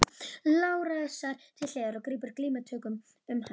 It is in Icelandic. Lárusar til hliðar og grípur glímutökum um hann.